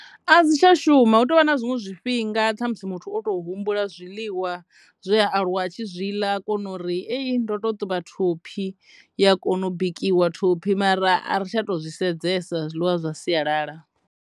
A dzi tsha shuma hu tovha na zwiṅwe zwifhinga ṱhamusi muthu o to humbula zwiḽiwa zwe a aluwa a tshi zwi ḽa a kona uri eyi ndo to ṱuvha thophi ya kona u bikiwa thophi mara a ri tsha to zwi sedzesa zwiḽiwa zwa sialala.